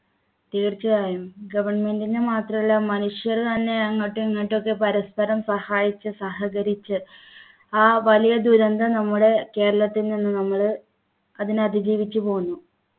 തീർച്ചയായും government ൻ്റെ മാത്രമല്ല മനുഷ്യർ തന്നെ അങ്ങോട്ട് ഇങ്ങോട്ടൊക്കെ പരസ്പരം സഹായിച്ച് സഹകരിച്ച് ആ വലിയ ദുരന്തം നമ്മുടെ കേരളത്തിൽ നിന്ന് നമ്മള് അതിനെ അതിജീവിച്ചു പോന്നു